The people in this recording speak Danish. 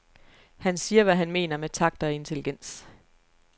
Han siger, hvad han mener med takt og intelligens.